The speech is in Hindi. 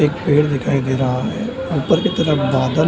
एक पेड दिखाई दे रहा है ऊपर के तरफ बादल --